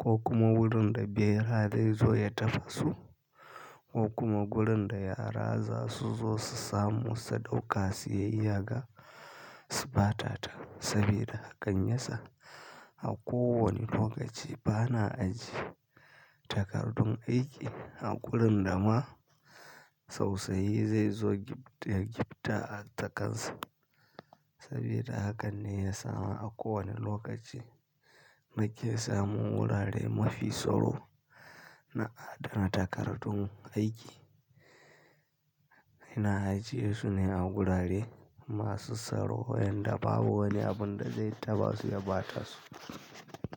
ko kuma wurin da bera zai zo ya taɓa su ko kuma wurin da yara za su zo su samu su ɗauka su yaiyaga su ɓata ta. Saboda haka, ya sa a kowane lokaci bana ajiye takardun aiki a wurin da ma tausayi zai zo ya gibta a takan sa. Saboda haka ne ya sa a kowane lokaci nake samun wurare mafi tsaro na adana takardun aiki. Ina ajiye su ne a wurare masu tsaro yadda babu wani abin da zai taɓa su ya ɓata su.